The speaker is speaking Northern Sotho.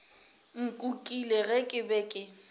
nkukile ge ke be ke